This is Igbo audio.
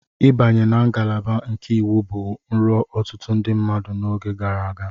Ịbanye na ngalaba nke Iwu bụ nrọ ọtụtụ ndị mmadụ n'oge gara aga.